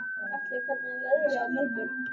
Atli, hvernig er veðrið á morgun?